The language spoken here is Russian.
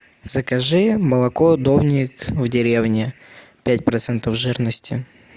закажи молоко домик в деревне пять процентов жирности